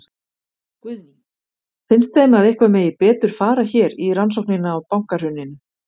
Guðný: Finnst þeim að eitthvað megi betur fara hér í rannsóknina á bankahruninu?